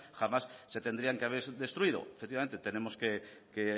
jamás se tendrían que haber destruido efectivamente tenemos que